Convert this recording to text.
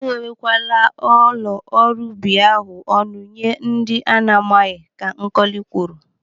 E ghewe kwala ụlọ ọrụ ubi ahụ ọnụ nye ndị ana amaghị, Ka Nkọli kwuru.